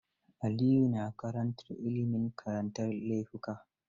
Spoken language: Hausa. Aliyu na karantar Ilimin karantar laifuka.